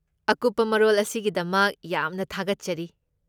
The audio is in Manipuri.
ꯑꯀꯨꯞꯄ ꯃꯔꯣꯜ ꯑꯁꯤꯒꯤꯗꯃꯛ ꯌꯥꯝꯅ ꯊꯥꯒꯠꯆꯔꯤ꯫